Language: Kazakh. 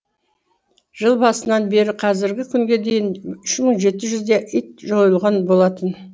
жыл басынан бері қазіргі күнге дейін үш мың жеті жүздей ит жойылған болатын